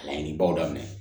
Laɲinibaw daminɛ